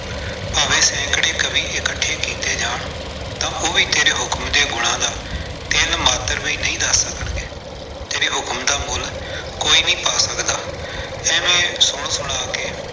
ਭਾਵੇਂ ਸੈਂਕੜੇ ਕਵਿ ਇਕੱਠੇ ਕੀਤੇ ਜਾਣ, ਤਾਂ ਉਹ ਵੀ ਤੇਰੇ ਹੁਕਮ ਦੇ ਗੁਣਾਂ ਦਾ ਤਿਲ ਮਾਤਰ ਵੀ ਨਹੀਂ ਦੱਸ ਸਕਣਗੇ, ਤੇਰੇ ਹੁਕਮ ਦਾ ਮੁੱਲ ਕੋਈ ਨਹੀਂ ਪਾ ਸਕਦਾ, ਏਵੇਂ ਸੁਣ ਸੁਣਾ ਕੇ।